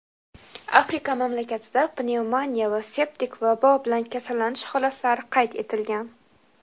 Afrika mamlakatida pnevmoniya va septik vabo bilan kasallanish holatlari qayd etilgan.